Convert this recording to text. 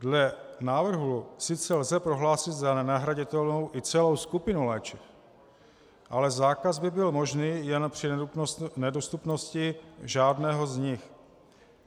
Dle návrhu sice lze prohlásit za nenahraditelnou i celou skupinu léčiv, ale zákaz by byl možný jen při nedostupnosti žádného z nich.